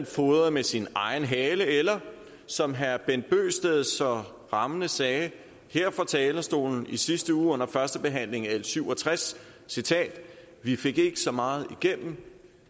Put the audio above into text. fodret med sin egen hale eller som herre bent bøgsted så rammende sagde her fra talerstolen i sidste uge under førstebehandlingen af l syv og tres citat vi fik ikke så meget igennem